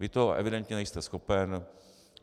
Vy toho evidentně nejste schopen.